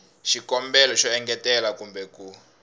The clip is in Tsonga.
xikombelo xo engetela kumbe ku